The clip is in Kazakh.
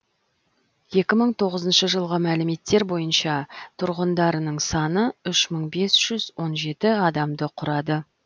екі мың тоғызыншы жылғы мәліметтер бойынша тұрғындарының саны үш мың бес жүз он жеті адамды құрады